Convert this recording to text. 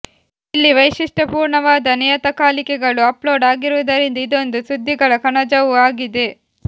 ಇಲ್ಲಿ ವೈಶಿಷ್ಟ್ಯಪೂರ್ಣವಾದ ನಿಯತಕಾಲಿಕೆಗಳು ಅಪ್ಲೋಡ್ ಆಗುವುದರಿಂದ ಇದೊಂದು ಸುದ್ದಿಗಳ ಕಣಜವೂ ಆಗಿದೆ